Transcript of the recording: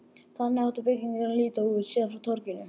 Þannig átti byggingin að líta út, séð frá torginu.